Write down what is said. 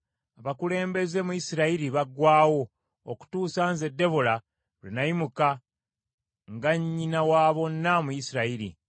Abakulembeze mu Isirayiri baggwaawo okutuusa nze Debola lwe nayimuka, nga nnyina wa bonna mu Isirayiri.